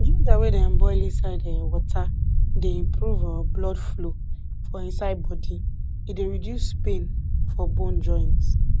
ginger wey dem boil inside um water dey improve um blood flow for inside body e dey reduce pain for bone joints